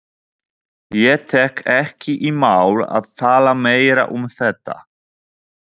Ég tek ekki í mál að tala meira um þetta